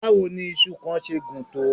Báwo ni iṣu kan ṣe gùn tó?